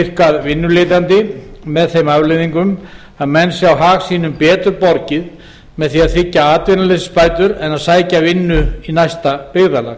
virkað vinnuletjandi með þeim afleiðingum að menn sjá hag sínum betur borgið með því að þiggja atvinnuleysisbætur en að sækja vinnu í næsta byggðarlag